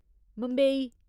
Mumbai